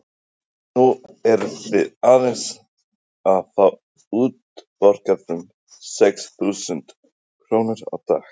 Nú eru þið aðeins að fá útborgað um sex þúsund krónur á dag?